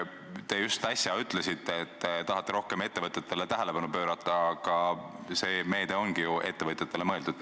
Te just äsja ütlesite, et tahate ettevõtetele rohkem tähelepanu pöörata, aga see meede ongi ju ettevõtjatele mõeldud.